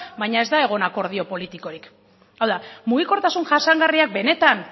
baina ez da egon akordio politikorik hau da mugikortasun jasangarriak benetan